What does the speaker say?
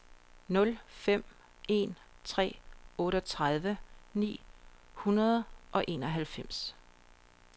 nul fem en tre otteogtredive ni hundrede og enoghalvfems